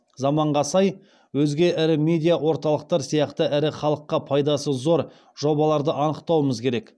заманға сай өзге ірі медиа орталықтар сияқты ірі халыққа пайдасы зор жобаларды анықтауымыз керек